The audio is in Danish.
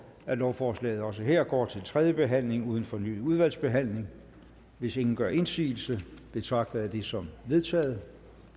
at lovforslaget også her går direkte til tredje behandling uden fornyet udvalgsbehandling hvis ingen gør indsigelse betragter jeg det som vedtaget